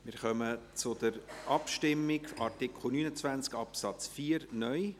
Wir kommen zur Abstimmung über Artikel 29 Absatz 4 (neu).